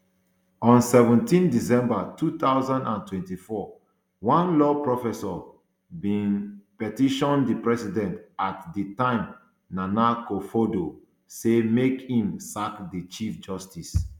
on seventeen december two thousand and twenty-four one law professor bin um petition di president at di time nana akufoaddo say make im sack di chief justice